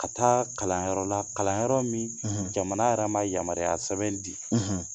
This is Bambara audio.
Ka taa kalanyɔrɔ la kalanyɔrɔ min jamana yɛrɛ ma yamaruya sɛbɛn di